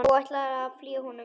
Og ætlarðu að fylgja honum?